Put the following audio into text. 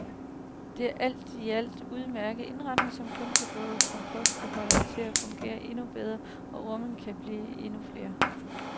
Det er alt i alt en udmærket indretning, som kun kan få kompostbeholderen til at fungere endnu bedre og ormene til at blive endnu flere.